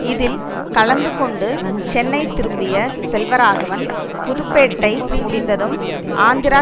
இதில் கலந்து கொண்டு சென்னை திரும்பிய செல்வராகவன் புதுப்பேட்டை முடிந்ததும் ஆந்திரா